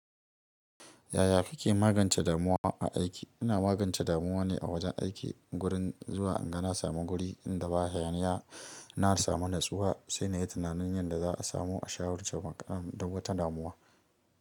Yaya kike magance damuwa a aiki? Ina magance damuwa ne a wajen aiki gurin zuwa inga na samu guri inda ba hayaniya na samu nutsuwa, sai na yi tunanin yadda za a samu a shawarci matsalar duk wata damuwa.